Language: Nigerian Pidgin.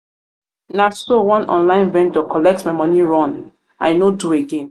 na so one online vendor collect my moni run i no do again.